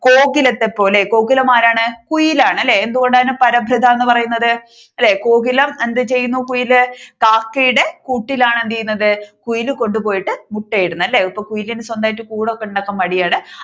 ഗോകുലത്തെ പോലെ അല്ലെ ഗോകുലം ആരാണ് കുയിലാണ് അല്ലെ എന്തുകൊണ്ടാണ് അതിനെ പരഭൃത എന്ന് പറയുന്നത് അല്ലെ കോകിലം എന്ത് ചെയ്യുന്നു കുയിൽ കാക്കയുടെ കൂട്ടിലാണ് എന്ത് ചെയ്യുന്നത് കുയിൽ കൊണ്ട് പോയിട്ട് മൊട്ട ഇടുന്നത് അല്ലെ അപ്പൊ കുയിലിനു സ്വന്തമായിട്ട് കൂട് ഒക്കെ ഉണ്ടാക്കാൻ മടിയാണ്